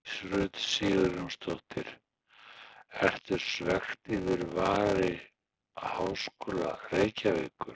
Hjördís Rut Sigurjónsdóttir: Ertu svekkt yfir vali Háskóla Reykjavíkur?